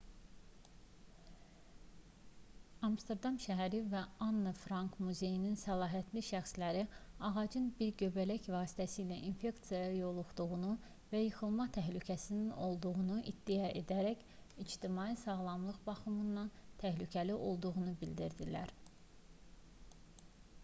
amsterdam şəhəri və anne frank muzeyinin səlahiyyətli şəxsləri ağacın bir göbələk vasitəsilə infeksiyaya yoluxduğunu və yıxılma təhlükəsinin olduğunu iddia edərək ictimai sağlamlıq baxımından təhlükəli olduğunu bildirirlər